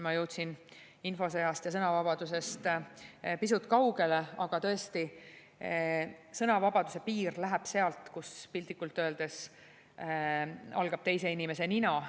Ma jõudsin infosõjast ja sõnavabadusest pisut kaugele, aga tõesti, sõnavabaduse piir läheb sealt, kus piltlikult öeldes algab teise inimese nina.